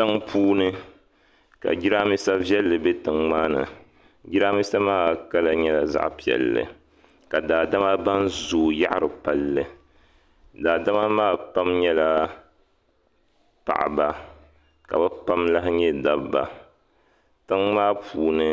Tiŋa puuni ka Jiranbiisa viɛlli bɛ tiŋa maa ni Jiranbiisa maa kala nyɛla zaɣa piɛlli ka daadama ban zooyi yaɣari palli daadama maa pam nyɛla paɣaba ka bi pam lahi nyɛ dabba tiŋa maa puuni